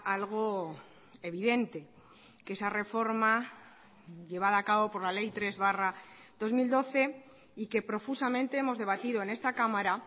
algo evidente que esa reforma llevada a cabo por la ley tres barra dos mil doce y que profusamente hemos debatido en esta cámara